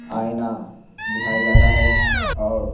आईना दिखाया जा रहा हैऔर--